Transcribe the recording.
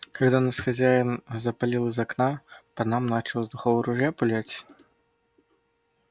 когда нас хозяин запалил из окна по нам начал из духового ружья пулять